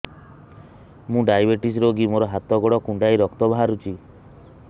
ମୁ ଡାଏବେଟିସ ରୋଗୀ ମୋର ହାତ ଗୋଡ଼ କୁଣ୍ଡାଇ ରକ୍ତ ବାହାରୁଚି